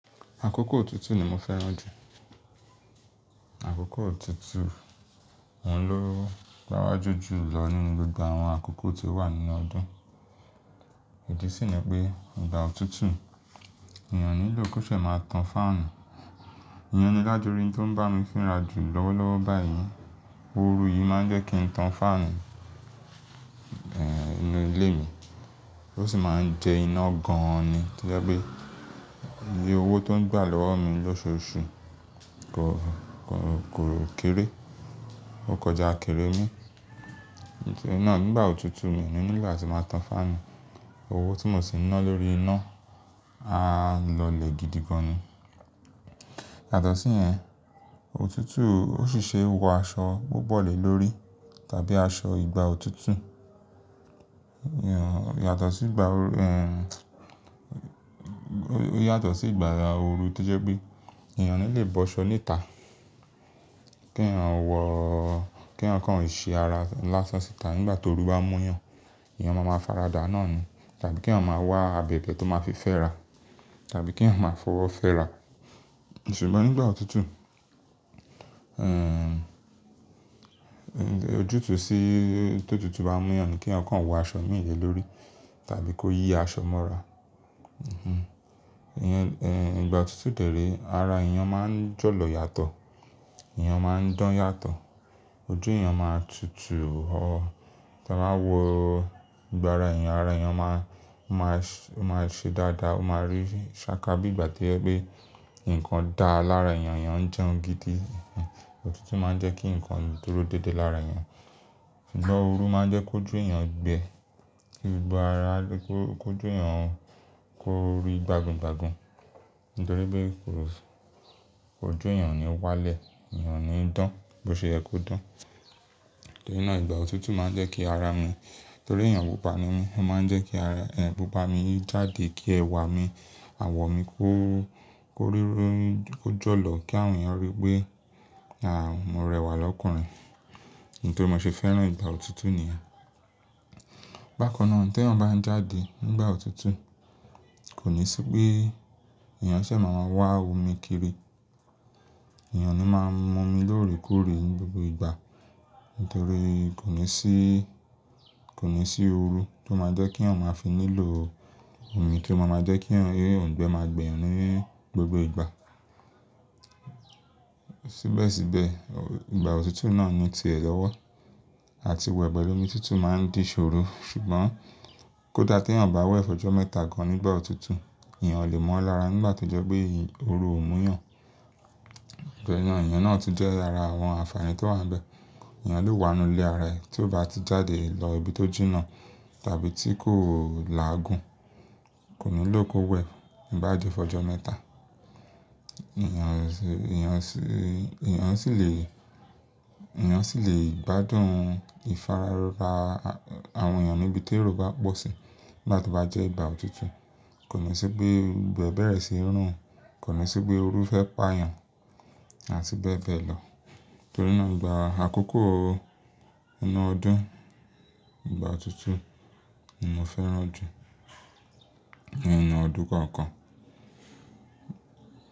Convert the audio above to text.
Àkókò òtútù ni mo fẹ́ràn jù. Àkókò òtútù, òun ló gbawaju julọ nínú gbogbo àwọn àkókò tó wà nínú ọdún. Idi sì ni pé, nígbà òtútù, èèyàn o nílò kó ṣè máa tan fáànù. Èèyàn ni lájorí tó ń bá mi fìra jù lọ́wọ́lọ́wọ́ báyìí. Oru yìí máa ń jẹ́ kí n tan fáànù, inú ilé mi. Ó sì máa ń jẹ iná gan-an ni. To jẹ́ pé iye owó tó ń gbà lọ́wọ́ mi lóṣù osù kò, kò, kò rọ̀ kéré. Ó kọjá akèrè mi. Nítorí náà nígbà òtútù mi nílò láti máa tan fáànù. Owó tí mo sì ń ná lórí iná á lọlẹ̀ gidi gan-an ni. Yàtọ̀ síyẹn, òtútù ó sì ṣe wọ aṣọ gbọ́gbọ́lẹ̀ lórí tàbí aṣọ ìgbà òtútù. Èèyàn, yàtọ̀ sí ìgbà òr-- ó yàtọ̀ sí ìgbà òru to jẹ́ pé èèyàn o nilè bọ́ṣọ ni ta. Kí èèyàn wọ-- kí èèyàn kàn ò ṣe ara ńlá sọsítà ngbà tó oru bá n mú yàn. Èèyàn máa ma faradà náà ni. Tàbí kí èèyàn máa wá abẹ̀bẹ̀ tó máa fi fẹ́ra tàbí kí èèyàn máa fọwọ́ fẹ́ra. Ṣùgbọ́n nígbà òtútù, ojútùú sí tó òtútù bá mú yàn ni kí èèyàn kan wọ aṣọ méji lórí tàbí kó yí aṣọ mọ́ra. Èèyàn, ìgbà òtútù dèré ara èèyàn máa ń jọ̀lọ̀ yàtọ̀. Ẹ̀yàn máa ń dán yàtọ̀. Ojú èèyàn máa tutù ọ́. Ta n bá wo ìgbà ara èèyàn, ara èèyàn máa, máa se, máa ṣe dáadáa. O máa rí sáká bí ìgbà to yẹ pé nǹkan dà lára èèyàn yen, èèyàn ń jẹun gidi. Òtútù máa ń jẹ́ kí nǹkan dúró dédé lára èèyàn. Ṣùgbọ́n òru máa jẹ́ kó ojú èèyàn gbẹ. Ìgbà ara-- kó, kó ojú eeyàn kó rí gbagun-gbagun. Nítorí pé kò, ojú èèyàn o ni wá lẹ̀. Ẹ̀eyàn o ni í dán bó ṣe yẹ ko dán. Torí náà ìgbà òtútù máa ń jẹ́ kí ara mi, torí èèyàn pupa ni mí, ó máa ń jẹ́ kí ara e, pupa mi jáde kí ẹwà mi, àwọ̀ mi kó, kó rírọ́, kó jọ̀lọ̀ kí àwọn èèyàn rí pé, à mo rẹwà lọ́kùnrin. Nítori mo ṣe fẹ́ràn ìgbà òtútù nìyẹn. Bákan náà te èèyàn bá ń jáde nígbà òtútù, kò ní sí pé èèyàn ṣè máa maa wá omi kiri. Ẹ̀eyàn naa máa ń mú omi lóòrèkóòrè ní gbogbo ìgbà. Nítorí kò ní sí, kò ní sí oru tó máa jẹ́ kí èèyàn máa fi nílò o omi kí ó máa maa jẹ́ kí èèyàn, èèyàn gbẹ máa gbẹ́ yàn ní gbogbo ìgbà. Síbẹ̀síbẹ̀, ìgbà òtútù náà ni ti ẹ lọ́wọ́. Àti wẹ̀ pẹ̀lu omi tútù máa ń dì iṣòro. Ṣùgbọ́n kódà tí èèyàn bá wẹ̀ fọ́jọ́ mẹ́ta gan nígbà òtútù, èèyàn o lè mọ́ ọ lára nígbà tó jẹ́ pé e oru ò mú yàn. Gbéyàn iyen náà tun jẹ ara àwọn ànfààní tó wà nbẹ̀. Ẹ̀eyàn lè wà ínú ilé ara ẹ tí ó bá ti jáde lọ ibi tó jìnnà tàbí tí kò o làágùn, kò ní lò kó wẹ̀ n bàa dí fọ́jọ́ mẹ́ta. Èèyàn sì, èèyàn sì, èèyàn sì lè, èèyàn sì lè gbádùn ìfarara a àwọn èèyàn ní ibi tèro bá pọ̀ sí ngbà tó bá jẹ́ ìgbà òtútù. Kò ní sí pé gbogbo e bẹ̀rẹ̀ síí rùn. Kò ní sí pé oru fẹ́ pa èèyàn àti bẹ́ẹ̀ bẹ́ẹ̀ lọ. Torí náà ìgbà àkókò inú ọdún, ìgbà òtútù ni mo fẹ́ràn jù nínu ọdún kọ̀ọ̀kan.